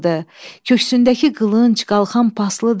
Köksündəki qılınc qalxan paslıdır.